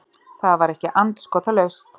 Það var ekki andskotalaust.